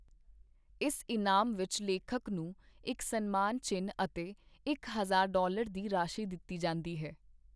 ਇਸ ਇਨਾਮ ਵਿਚ ਲੇਖਕ ਨੂੰ ਇਕ ਸਨਮਾਨ ਚਿੰਨ ਅਤੇ ਇਕ ਹਜ਼ਾਰ ਡਾਲਰ ਦੀ ਰਾਸ਼ੀ ਦਿੱਤੀ ਜਾਂਦੀ ਹੈ।